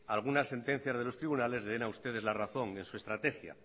algunas sentencias de los tribunales le den a ustedes la razón en su estrategia